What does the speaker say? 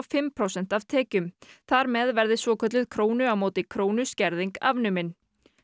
fimm prósent af tekjum þar með verði svokölluð krónu á móti krónu skerðing afnumin